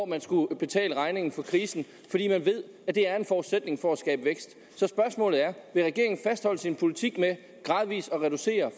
man skulle betale regningen for krisen fordi man ved at det er en forudsætning for at skabe vækst så spørgsmålet er vil regeringen fastholde sin politik med gradvis at reducere